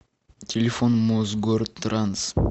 телефон мосгортранс